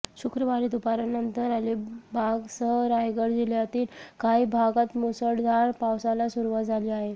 शुक्रवारी दुपारनंतर अलिबागसह रायगड जिल्ह्यातील काही भागात मुसळधार पावसाला सुरुवात झाली आहे